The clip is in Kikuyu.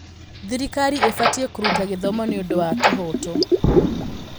Thirikari ĩbatiĩ kũruta gĩthomo nĩ ũndũ wa kĩhooto.